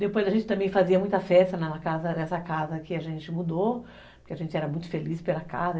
Depois a gente também fazia muita festa nessa casa que a gente mudou, porque a gente era muito feliz pela casa.